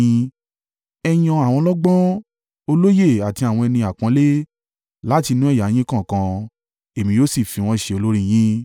Ẹ yan àwọn ọlọ́gbọ́n, olóye àti àwọn ẹni àpọ́nlé, láti inú ẹ̀yà yín kọ̀ọ̀kan, èmi yóò sì fi wọ́n ṣe olórí yín.”